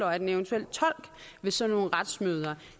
at en eventuel tolk ved sådan nogle retsmøder